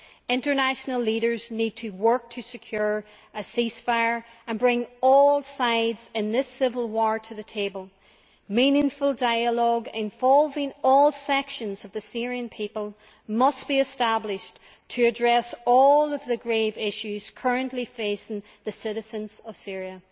International leaders need to work to secure a ceasefire and bring all sides in this civil war to the table. Meaningful dialogue involving all sections of the Syrian people must be established to address all of the grave issues currently facing the citizens of Syria.